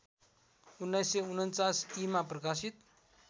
१९४९ ई‌मा प्रकाशित